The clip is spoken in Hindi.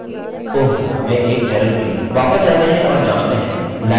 वापस जाते हैं और जाँचते हैं लाइन टर्मिनेटर इस्तेमाल नहीं किया रिफ्रेश और डेटा रिसेंड करें